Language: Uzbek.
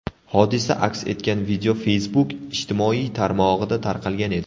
Hodisa aks etgan video Facebook ijtimoiy tarmog‘ida tarqalgan edi.